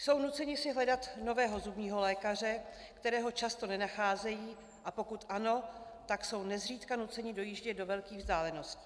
Jsou nuceni si hledat nového zubního lékaře, kterého často nenacházejí, a pokud ano, tak jsou nezřídka nuceni dojíždět do velkých vzdáleností.